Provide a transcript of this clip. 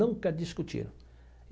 Nunca discutiram.